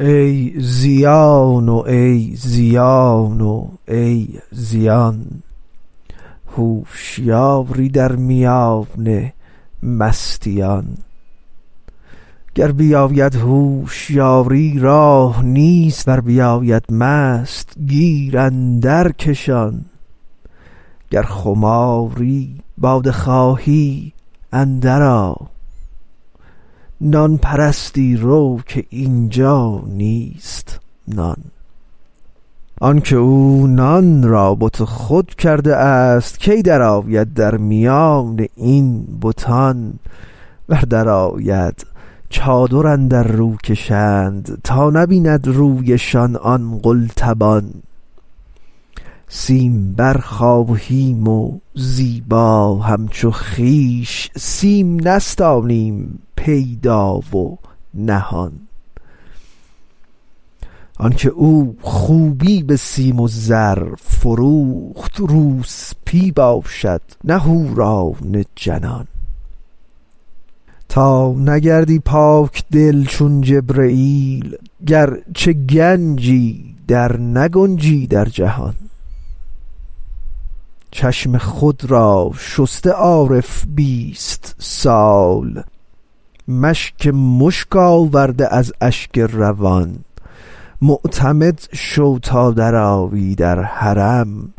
ای زیان و ای زیان و ای زیان هوشیاری در میان مستیان گر بیاید هوشیاری راه نیست ور بیاید مست گیر اندرکشان گر خماری باده خواهی اندرآ نان پرستی رو که این جا نیست نان آنک او نان را بت خود کرده است کی درآید در میان این بتان ور درآید چادر اندر رو کشند تا نبیند رویشان آن قلتبان سیمبر خواهیم و زیبا همچو خویش سیم نستانیم پیدا و نهان آنک او خوبی به سیم و زر فروخت روسپی باشد نه حوران جنان تا نگردی پاک دل چون جبرییل گرچه گنجی درنگنجی در جهان چشم خود را شسته عارف بیست سال مشک مشک آورده از اشک روان معتمد شو تا درآیی در حرم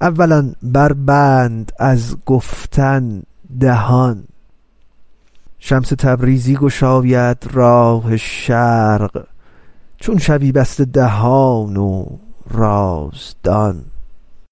اولا بربند از گفتن دهان شمس تبریزی گشاید راه شرق چون شوی بسته دهان و رازدان